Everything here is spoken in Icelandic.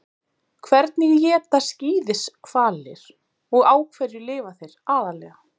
Hvernig éta skíðishvalir og á hverju lifa þeir aðallega?